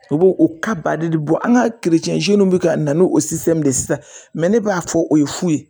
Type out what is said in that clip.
U b'o o de bɔ an ka bɛ ka na n'o de ye sisan ne b'a fɔ o ye fu ye